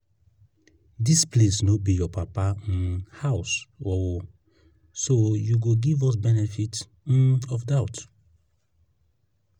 dis place no be your papa um house oo so you go give us benefit um of doubt